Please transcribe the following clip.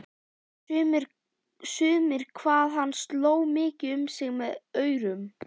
Sumir hvað hann sló mikið um sig með aurum.